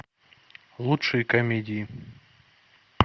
лучшие комедии